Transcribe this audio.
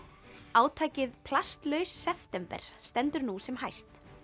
átakið plastlaus september stendur nú sem hæst